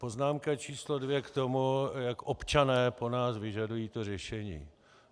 Poznámka číslo dvě k tomu, jak občané po nás vyžadují to řešení.